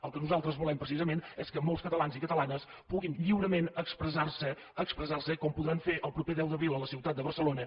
el que nosaltres volem precisament és que molts catalans i catalanes puguin lliurement expressar se expressar se com ho podran fer el proper deu d’abril a la ciutat de barcelona